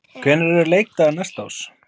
Hvenær eru leikdagar næsta árs?